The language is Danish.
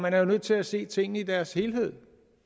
er jo nødt til at se tingene i deres helhed